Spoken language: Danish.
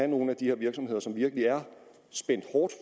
nogle af de her virksomheder som virkelig er spændt hårdt